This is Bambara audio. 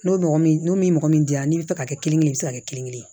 N'o mɔgɔ min n'o min mɔgɔ min dira n'i bɛ fɛ ka kɛ kelen ye i bɛ se ka kɛ kelen kelen ye